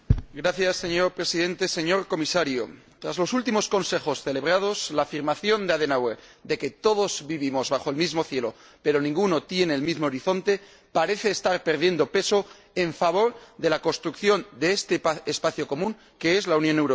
Señor Presidente, señor Comisario, tras los últimos Consejos celebrados, la afirmación de Adenauer de que todos vivimos bajo el mismo cielo pero ninguno tiene el mismo horizonte parece estar perdiendo peso en favor de la construcción de este espacio común que es la Unión Europea.